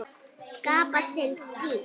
Skapa sinn stíl.